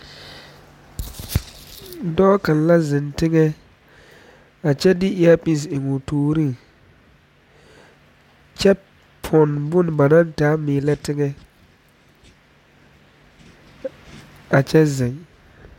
Dɔɔ kaŋ la zeŋ teŋa a kyɛ de eraapee eŋ o tooreŋ kyɛ pɔn bon ba naŋ taa meelɛ teŋa a kyɛ zeŋ